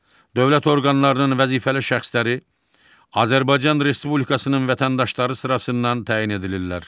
Dövlət orqanlarının vəzifəli şəxsləri Azərbaycan Respublikasının vətəndaşları sırasından təyin edilirlər.